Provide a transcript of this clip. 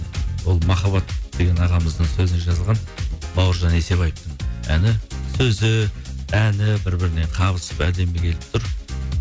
ол махаббат деген ағамыздың сөзіне жазылған бауыржан есебаевтың әні сөзі әні бір біріне қабысып әдемі келіп тұр